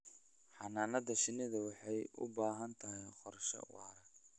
Xannaanada shinnidu waxay u baahan tahay qorshe waara.